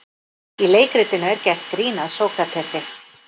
Í leikritinu er gert grín að Sókratesi.